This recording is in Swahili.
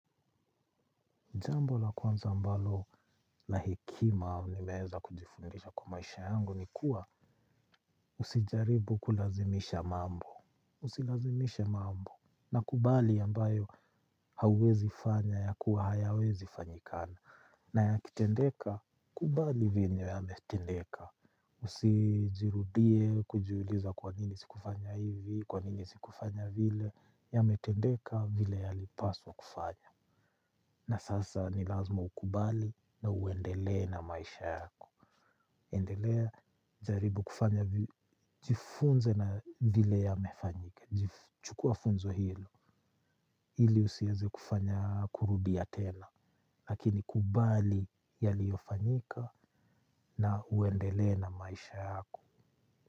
Jambo la kwanza ambalo la hekima nimeweza kujifundisha kwa maisha yangu ni kuwa usijaribu kulazimisha mambo. Usilazimishe mambo nakubali ambayo hauwezi fanya ya kuwa hayawezi fanyikana. Na ya kitendeka, kubali venye yametendeka. Usijirudie kujiuliza kwa nini sikufanya hivi, kwa nini sikufanya vile yametendeka vile ya lipaswa kufanya. Na sasa ni lazima ukubali na uendelee na maisha yako. Endelea jaribu kufanya jifunze na vile yamefanyika. Chukua funzo hilo. Iliusieze kufanya kurudia tena lakini kubali yaliyofanyika na uendele na maisha yako.